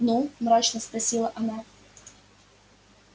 ну мрачно спросила она